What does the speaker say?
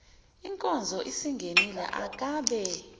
inkonzo isingenile akabe